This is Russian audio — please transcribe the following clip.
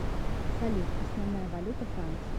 салют основная валюта франции